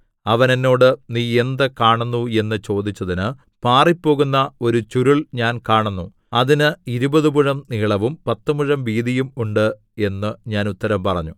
അവൻ എന്നോട് നീ എന്ത് കാണുന്നു എന്നു ചോദിച്ചതിന് പാറിപ്പോകുന്ന ഒരു ചുരുൾ ഞാൻ കാണുന്നു അതിന് ഇരുപതു മുഴം നീളവും പത്തുമുഴം വീതിയും ഉണ്ട് എന്നു ഞാൻ ഉത്തരം പറഞ്ഞു